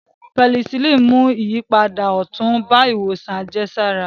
Pẹnisilíìnì mú ìyípadà ọ̀tun bá ìwòsàn àjẹsára